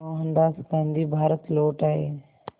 मोहनदास गांधी भारत लौट आए